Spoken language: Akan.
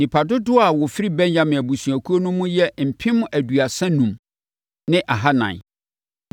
Nnipa dodoɔ a wɔfiri Benyamin abusuakuo no mu yɛ mpem aduasa enum ne ahanan (35,400).